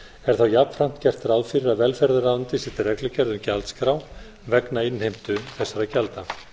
þá jafnframt gert ráð fyrir að velferðarráðuneytið setji reglugerð um gjaldskrá vegna innheimtu þessara gjalda